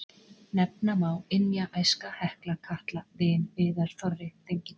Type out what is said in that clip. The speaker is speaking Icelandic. Nefna má Ynja, Æska, Hekla, Katla, Vin, Viðar, Þorri, Þengill.